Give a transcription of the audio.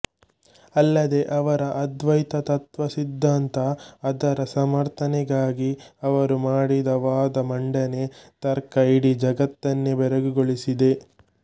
ಅಲ್ಲದೆ ಅವರ ಅದ್ವೈತ ತತ್ವ ಸಿದ್ದಾಂತ ಅದರ ಸಮರ್ಥನೆಗಾಗಿ ಅವರು ಮಾಡಿದ ವಾದ ಮಂಡನೆ ತರ್ಕ ಇಡೀ ಜಗತ್ತನ್ನೇ ಬೆರಗುಗೊಳಿಸಿದೆ